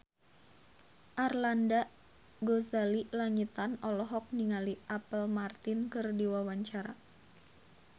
Arlanda Ghazali Langitan olohok ningali Apple Martin keur diwawancara